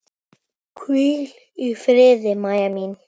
Hvíl í friði, Mæja mín.